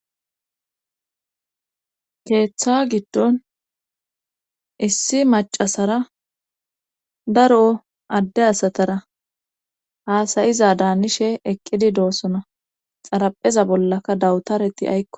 Keeththa giddon issi macasara daroo adde asatara haasayizadaanishshe eqqidi doossona xarapheza bollaka dawutareti aykko